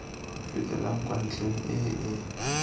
fetelang kwa ntlheng e e